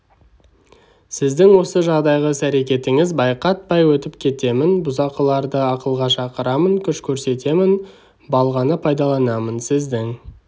сіздің осы жағдайғы іс әрекетіңіз байқатпай өтіп кетемін бұзақыларды ақылға шақырамын күш көрсетемін балғаны пайдаланамын сіздің